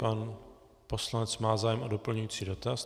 Pan poslanec má zájem o doplňující dotaz.